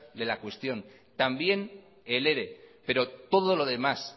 de la cuestión también el ere pero todo lo demás